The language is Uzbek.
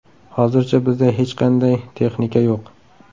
Hozircha bizda hech qanday texnika yo‘q.